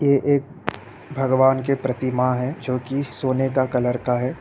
ये एक भगवान की प्रतिमा है जो की सोने का कलर का है।